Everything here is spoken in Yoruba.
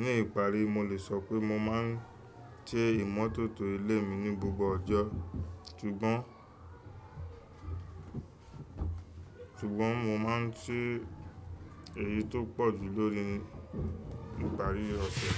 Ní ìparí, mo lè sọ pé mo máa ń ṣe ìmọ́tótó ilé mi ní gbogbo ọjọ́. Ṣùgbọ́n, ṣùgbọ́n mo máa ń ṣe èyí tó pọ̀ jù lórí ìparí ọ̀sẹ̀